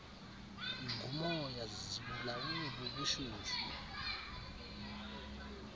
ngumoya zibulawe bubushushu